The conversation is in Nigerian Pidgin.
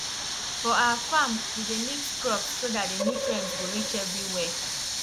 for our farm we dey mix crops so that the nutrients go reach everywhere